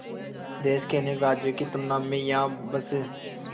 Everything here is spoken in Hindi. देश के अनेक राज्यों की तुलना में यहाँ बस